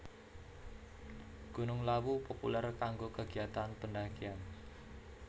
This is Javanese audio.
Gunung Lawu populèr kanggo kagiatan pendhakian